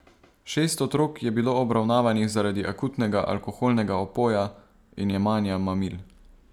Šest otrok je bilo obravnavanih zaradi akutnega alkoholnega opoja in jemanja mamil.